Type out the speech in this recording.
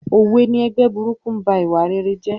Òwe ni "Ẹgbẹ́ burúkú ń ba ìwà rere jẹ́"